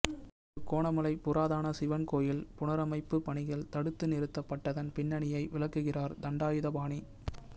திருகோணமலை புராதன சிவன் கோவில் புனரமைப்பு பணிகள் தடுத்து நிறுத்தப்பட்டதன் பின்னணியை விளக்குகிறார் தண்டாயுதபாணி